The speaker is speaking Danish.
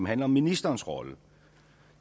handler om ministerens rolle